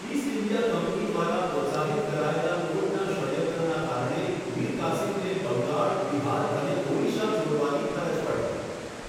East India company દ્વારા પ્રોત્સાહિત કરાયેલા કોર્ટના ષડયંત્રના કારણે મીર કાસિમને બંગાળ, બિહાર અને ઓડિશા છોડવાની ફરજ પડી.